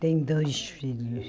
Tem dois filhos.